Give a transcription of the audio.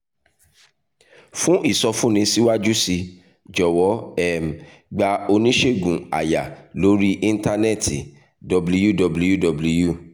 fún ìsọfúnni síwájú sí i jọ̀wọ́ um gba oníṣègùn àyà lórí íńtánẹ́ẹ̀tì www